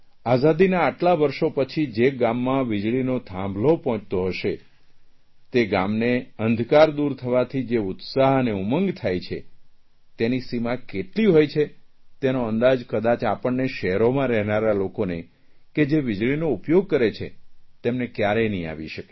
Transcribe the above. આઝાદીનાં આટલાં વર્ષો પછી જે ગામમાં વીજળીનો થાંભલો પહોંચતો હશે તે ગામને અંધકાર દૂર થવાથી જે ઉત્સાહ અને ઉમંગ થાય છે તેની સીમા કેટલી હોય છે તેનો અંદાજ કદાચ આપણને શહેરોમાં રહેનારા લોકોને કે જે વીજળીનો ઉપયોગ કરે છે તેમને કયારેક નહીં આવી શકે